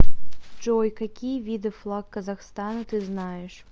джой какие виды флаг казахстана ты знаешь